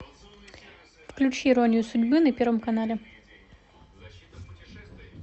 включи иронию судьбы на первом канале